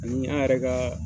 Ni y'an yɛrɛ kaaa